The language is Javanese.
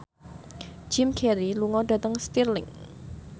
Jim Carey lunga dhateng Stirling